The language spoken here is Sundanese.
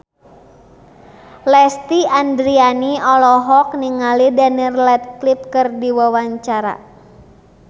Lesti Andryani olohok ningali Daniel Radcliffe keur diwawancara